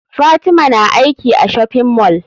Fatima na aiki a shopping mall.